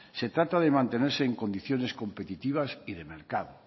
se trata de mantenerse en condiciones competitivas y de mercado